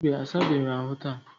mba, a sabeghị ahụ taa.